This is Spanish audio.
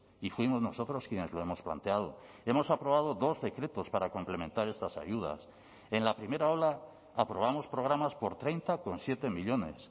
y fuimos nosotros quienes lo hemos planteado hemos aprobado dos decretos para complementar estas ayudas en la primera ola aprobamos programas por treinta coma siete millónes